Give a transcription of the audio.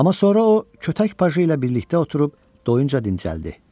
Amma sonra o, kötək pajı ilə birlikdə oturub doyunca dincəldi.